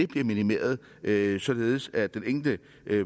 bliver minimeret således således at den enkelte